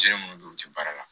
Se minnu don u tɛ baara la